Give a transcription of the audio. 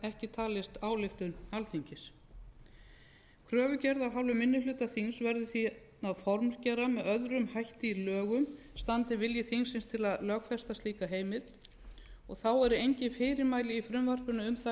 ekki talist ályktun þingsins kröfugerð af hálfu minni hluta þings verður því að formgera með öðru hætti í lögum standi vilji þingsins til að lögfesta slíka heimild þá eru engin fyrirmæli í frumvarpinu um það